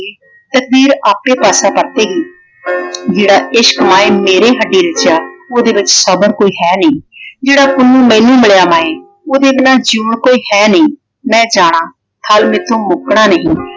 ਤਕਦੀਰ ਆਪੇ ਪਾਸਾ ਪਰਤੇਗੀ । ਜਿਹੜਾ ਇਸ਼ਕ ਮਾਏ ਮੇਰੀ ਹੱਡੀ ਰਚਿਆ ਓਹਦੇ ਵਿੱਚ ਸਬਰ ਕੋਈ ਹੈ ਨਹੀਂ। ਜਿਹੜਾ ਪੁੰਨੂੰ ਮੈਨੂੰ ਮਿਲਿਆ ਮਾਏ ਓਹਦੇ ਬਿਨਾਂ ਜਿਉਣ ਕੋਈ ਹੈ ਨਹੀਂ। ਮੈਂ ਜਾਣਾ ਹੱਲ ਮੇਰੇ ਤੋਂ ਮੁੱਕਣਾ ਨਹੀਂ।